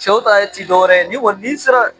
Sɛw ta tɛ dɔ wɛrɛ ye, n'i kɔni n'i sera